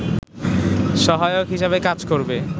সহায়ক হিসেবে কাজ করবে